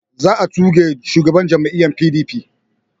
Za a tuge shugaban jam'iyya PDP